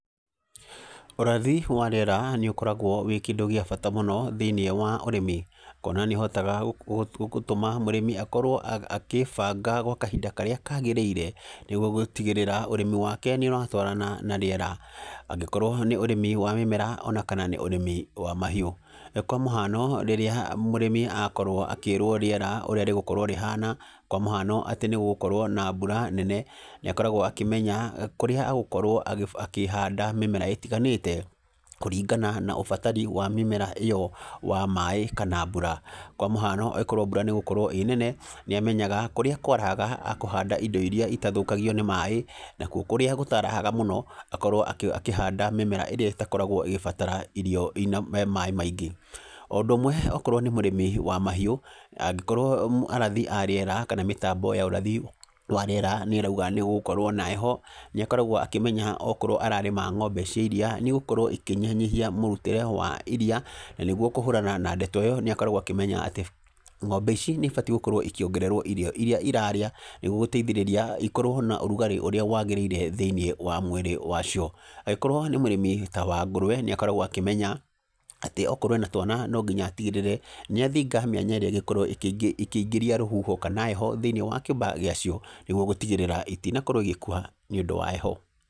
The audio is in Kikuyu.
Ũrathi wa rĩera nĩ ũkoragwo wĩ kĩndũ gĩa bata mũno thĩiniĩ wa ũrĩmi, kuona nĩ ũhotaga gũtũma mũrĩmi akorwo akĩĩbanga gwa kahinda karĩa kagĩrĩire, nĩguo gũtigĩrĩra ũrĩmi wake nĩ ũratwarana na rĩera. Angĩkorwo nĩ ũrĩmi wa mĩmera ona kana nĩ ũrĩmi wa mahiũ. Kwa mũhano rĩrĩa mũrĩmi akorwo akĩĩrwo rĩera ũrĩa rĩgũkorwo rĩhana, kwa mũhano atĩ nĩ gũgũkorwo na mbura nene, na ĩkoragwo akĩmenya kũrĩa agũkorwo akĩhanda mĩmera ĩtiganĩte, kũringana na ũbatari wa mĩmera ĩyo wa maĩ kana mbura. Kwa mũhano korwo mbura nĩ ĩgũkorwo ĩĩ nene nĩ amenyaga kũrĩa kwarahaga akũhanda indo irĩa itathũkagio nĩ maĩ, na kuo kũrĩa gũtarahaga mũno, akorwo akĩhanda mĩmera ĩrĩa ĩtakoragwo ĩgĩbatara irio ina maĩ maingĩ. O ũndũ ũmwe okorwo nĩ mũrĩmi wa mahiũ, angĩkorwo arathi a rĩera kana mĩtambo ya ũrathi wa rĩera nĩ ĩrauga nĩ gũgũkorwo na heho, nĩ akoragwo akĩmenya okorwo ararĩma ng'ombe cia iriia, nĩ igũkorwo ikĩnyihanyihia mũrutĩre wa iriia, na nĩguo kũhũrana na ndeto ĩyo nĩ akoragwo akĩmenya atĩ ng'ombe ici nĩ ibatiĩ gũkorwo ikĩongererwo irio irĩa irarĩa, nĩguo gũteithĩríĩia ikorwo na ũrugarĩ ũrĩa wagĩrĩire thĩiniĩ wa mwĩrĩ wa cio. Angĩkorwo nĩ mũrĩmi ta wa ngũrũwe, nĩ akoragwo akĩmenya, atĩ okorwo ena twana no nginya atigĩrĩre, nĩ athinga mĩanya ĩrĩa ĩngĩkorwo ĩkĩingĩria rũhuho kana heho thĩiniĩ wa kĩmbaa gĩa cio, nĩguo gũtigĩrĩra itinakorwo igĩkua nĩ ũndũ wa heho.